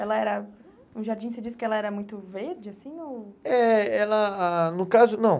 Ela era... No jardim você disse que ela era muito verde, assim, ou... É, ela... No caso, não.